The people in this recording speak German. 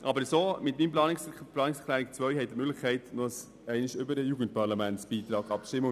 Aber mit der Planungserklärung 2 haben Sie noch einmal die Möglichkeit, über den Beitrag für das Jugendparlament abzustimmen.